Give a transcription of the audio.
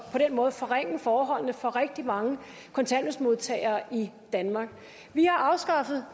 på den måde forringe forholdene for rigtig mange kontanthjælpsmodtagere i danmark vi har afskaffet